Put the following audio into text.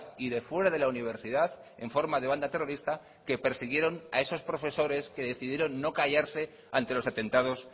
y de fuera de la universidad en forma de banda terrorista que persiguieron a esos profesores que decidieron no callarse ante los atentados